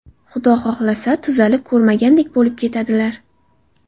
Xudo xohlasa tuzalib ko‘rmagandek bo‘lib ketadilar!